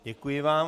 Děkuji vám.